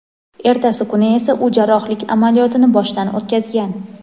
Ertasi kuni esa u jarrohlik amaliyotini boshdan o‘tkazgan.